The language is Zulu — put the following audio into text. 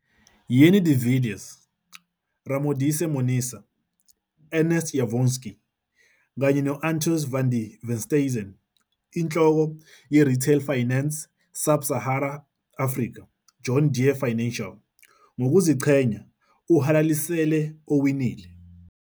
Jannie de Villiers, Ramodisa Monaisa, Ernst Janovsky kanye no-Antois van der Westhuizen, Inhloko - ye-Retail Finance - Sub Sahara Africa, John Deere Financial, ngokuziqhenya uhalalisele owinile.